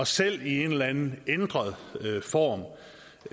selv i en eller anden ændret form